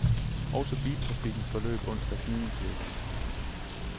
Også biltrafikken forløb onsdag gnidningsløst.